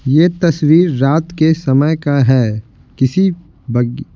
यह तस्वीर रात के समय का है किसी बगी--